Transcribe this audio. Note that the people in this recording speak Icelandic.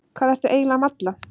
Hvað ertu eiginlega að malla?